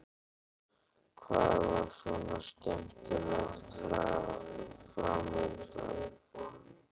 Hvað var svona skemmtilegt fram undan?